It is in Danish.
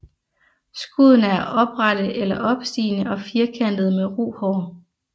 Skuddene er oprette eller opstigende og firkantede med ru hår